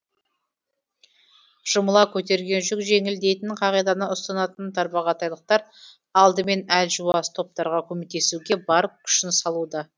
жұмыла көтерген жүк жеңіл дейтін қағиданы ұстанатын тарбағатайлықтар алдымен әлжуаз топтарға көмектесуге бар күшін салуда